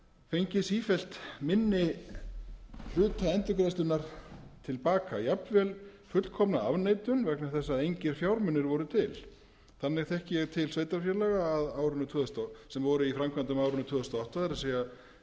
fengið sífellt minni hluta endurgreiðslunnar til baka jafnvel fullkomna afneitun vegna þess að engir fjármunir voru til þannig þekki ég til sveitarfélaga sem voru í framkvæmdum á árinu tvö þúsund og átta það er